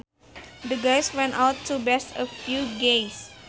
The guys went out to bash a few gays